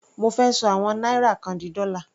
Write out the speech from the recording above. Mo fẹ́ ṣọ àwọn náírà kan di dọ́là.